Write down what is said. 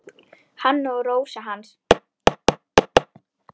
Hann og Rósa hans.